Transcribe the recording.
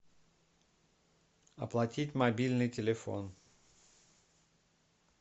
оплатить мобильный телефон